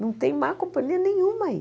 Não tem má companhia nenhuma aí.